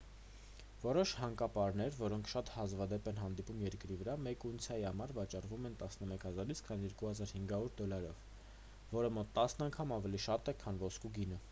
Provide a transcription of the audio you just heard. որոշ հանքապարներ որոնք շատ հազվադեպ են հանդիպում երկրի վրա մեկ ունցիայի համար վաճառվում են 11,000 - 22,500 դոլարով որը մոտ տասն անգամ ավելի շատ է քան ոսկու գինը